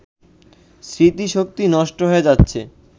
স্মৃতিশক্তি নষ্ট হয়ে যাচ্ছে